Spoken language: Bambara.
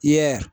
Yaa